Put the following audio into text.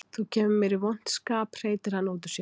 Þú kemur mér í vont skap, hreytir hann út úr sér.